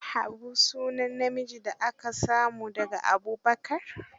Habu sunan namiji da aka samo da ga Abubakar.